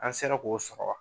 An sera k'o sɔrɔ wa?